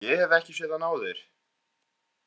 Ég hef ekki séð hann áður.